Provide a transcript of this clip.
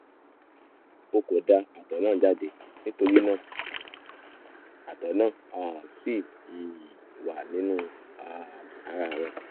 o kò da àtọ̀ náà jáde nítorí náà àtọ̀ náà um ṣì um wà nínú um ara rẹ